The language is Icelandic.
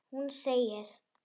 Hún segir